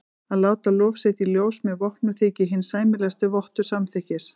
Að láta lof sitt í ljós með vopnum þykir hinn sæmilegasti vottur samþykkis.